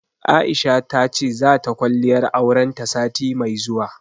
Aisha ta ce, za ta kwalliyar auren ta sati mai zuwa.